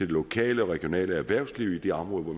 lokale og regionale erhvervsliv i de områder